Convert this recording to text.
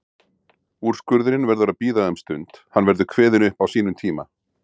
Úrskurðurinn verður að bíða um stund, hann verður kveðinn upp á sínum tíma.